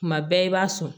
Kuma bɛɛ i b'a sɔn